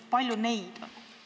Kui palju neid on?